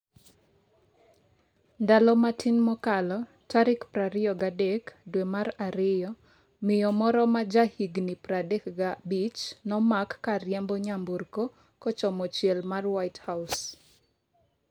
ndalo matin mokalo, tarik 23 dwe mar ariyo, miyo moro ma ja higni 35 nomak kariembo nyamburko kochomo chiel mar white house.